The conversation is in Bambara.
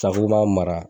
mara